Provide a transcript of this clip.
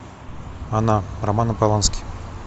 она романа полански